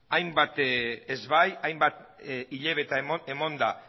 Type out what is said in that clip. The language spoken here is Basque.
hainbat ez bai hainbat hilabete emanda